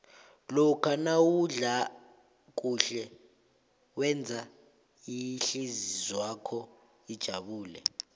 lokha nawudla kuhle wenza ihlizwakho ijabule